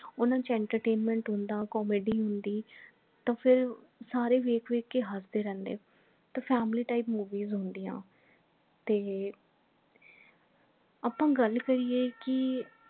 ਉਹਨਾਂ ਚ entertainment ਹੁੰਦਾ comedy ਹੁੰਦੀ ਤਾਂ ਫੇਰ ਸਾਰੇ ਵੇਖ ਵੇਖ ਕੇ ਹਸਦੇ ਰਹਿੰਦੇ ਤਾਂ family type movies ਹੁੰਦੀਆਂ ਤੇ ਆਪਾ ਗੱਲ ਕਰੀਏ ਕਿ